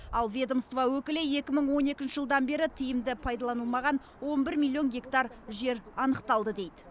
ал ведомство өкілі екі мың он екінші жылдан бері тиімді пайдаланылмаған он бір миллион гектар жер анықталды дейді